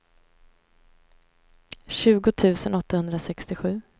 tjugo tusen åttahundrasextiosju